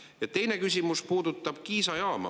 Ja teine küsimus puudutab Kiisa jaama.